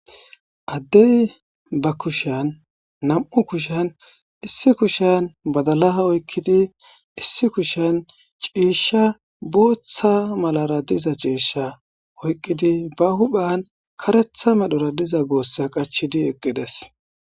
Adde ba kushian nam'u kushiyan issi kushiyan badala oyikidi issi kushiyan cishsha botha malara diza cisha oyikidi ba huphiyan kareta medhora diza gosa qachidi eqides.